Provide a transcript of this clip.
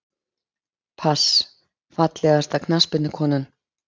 pass Fallegasta knattspyrnukonan?